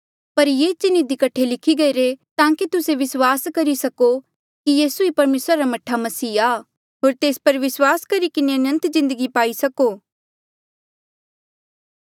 पर ये चिन्ह इधी कठे लिखे गईरे ताकि तुस्से विस्वास करी सको कि यीसू ई परमेसरा रा मह्ठा मसीह आ होर तेस पर विस्वास करी किन्हें अनंत जिन्दगी पाई सको